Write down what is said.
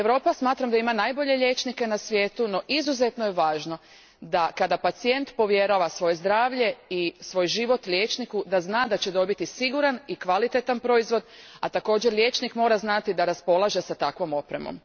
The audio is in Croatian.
Smatram da Europa ima najbolje liječnike na svijetu, no izuzetno je važno da pacijent, kada povjerava svoje zdravlje i svoj život liječniku, zna da će dobiti siguran i kvalitetan proizvod, a također liječnik mora znati da raspolaže s takvom opremom.